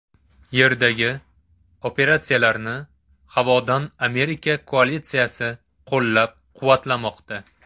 Yerdagi operatsiyalarni havodan Amerika koalitsiyasi qo‘llab-quvvatlamoqda.